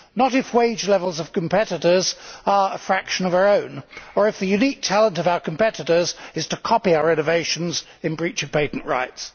Not if the wage levels of competitors are a fraction of our own, or if the elite talent of our competitors is to copy our innovations in breach of patent rights.